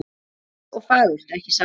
Einfalt og fagurt, ekki satt?